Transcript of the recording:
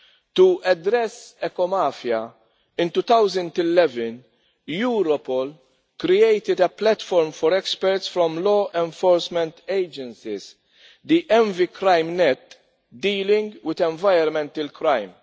To address the eco mafia, in 2011 Europol created a platform for experts from law enforcement agencies, the EnviCrimeNet, dealing with environmental crime.